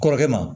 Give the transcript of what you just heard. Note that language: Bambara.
Kɔrɔkɛ ma